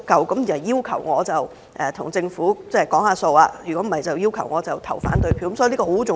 他們要求我與政府討價還價，否則便要求我表決反對，所以這很重要。